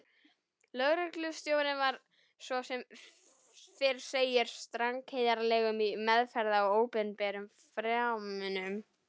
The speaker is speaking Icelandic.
Lögreglustjórinn var, svo sem fyrr segir, strangheiðarlegur í meðferð á opinberum fjármunum.